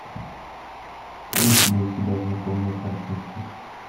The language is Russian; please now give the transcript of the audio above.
есть ли у тебя знакомые картинки